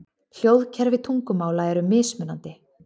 Hljóðkerfi tungumála eru mismunandi.